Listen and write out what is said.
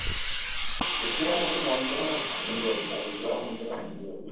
এতিয়া মোৰ মনটো মানে ভাঙি গল যোৱা মনটো ভাঙি গল